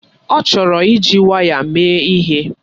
Ọ chọrọ iji waya eme ihe.